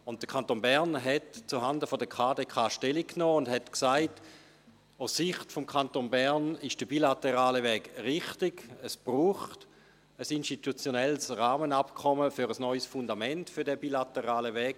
Der Kanton Bern nahm zuhanden der KdK Stellung und sagte, aus Sicht des Kantons Bern, sei der bilaterale Weg richtig, es brauche ein institutionelles Rahmenabkommen zwecks eines neuen Fundaments für diesen bilateralen Weg.